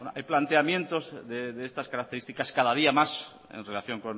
hay planteamientos de estas características cada día más en relación